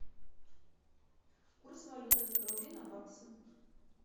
курс валюты рубли на баксы